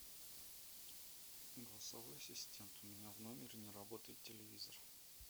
голосовой ассистент у меня в номере не работает телевизор